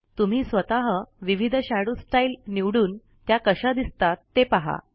तुम्ही स्वतः विविध शॅडो स्टाईल निवडून त्या कशा दिसतात ते पहा